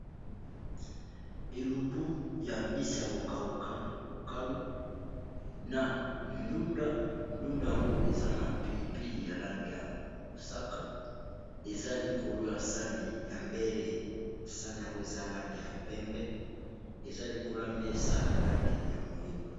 elubu ya mbisi ya kokauka mokalu na ndunda ndunda yango eza na pilipili ya lange ya mosaka eza likolo ya sani ya mbele sani yango eza lange ya pembe eza likolo ya mesa ya langi ya moindwa